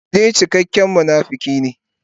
Shi dai cikakken munafuki ne.